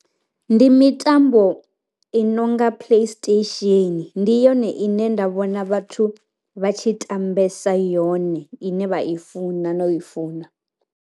Ndi mitambo i nonga play station, ndi yone ine nda vhona vhathu vha tshi tambese yone ine vha i funa no i funa.